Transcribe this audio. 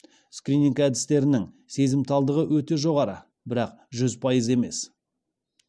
скрининг әдістерінің сезімталдығы өте жоғары бірақ жүз пайыз емес